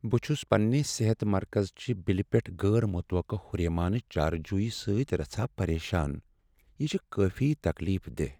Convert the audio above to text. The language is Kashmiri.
بہٕ چھس پننہ صحت مرکز چہ بلہ پیٹھ غیر متوقع ہُریمانہ چارجو سۭتۍ رژھاہ پریشان، یہ چھ کٲفی تکلیف دہ۔